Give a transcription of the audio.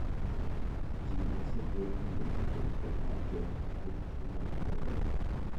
Ji osegwel mondo obed e pacho nikech tuo mar corona.